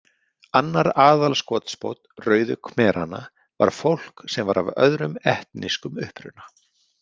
Annar aðalskotspónn Rauðu khmeranna var fólk sem var af öðrum etnískum uppruna.